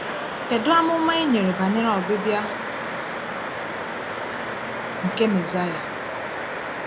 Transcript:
Kedu amụma e nyere banyere ọbịbịa nke Mesaịa?